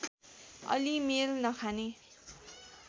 अलि मेल नखाने